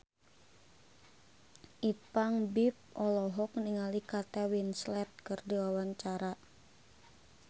Ipank BIP olohok ningali Kate Winslet keur diwawancara